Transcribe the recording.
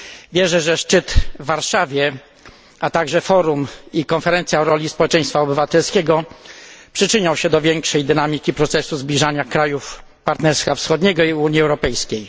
Wierzę, że szczyt w Warszawie, a także forum i konferencja o roli społeczeństwa obywatelskiego przyczynią się do większej dynamiki procesu zbliżania krajów Partnerstwa Wschodniego i Unii Europejskiej.